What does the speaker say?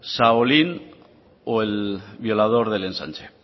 shaolín o el violador del ensanche